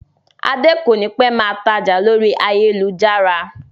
Adé kònípẹ́ máa tája lórí ayélujára